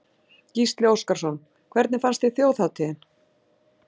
Gísli Óskarsson: Hvernig fannst þér þjóðhátíðin?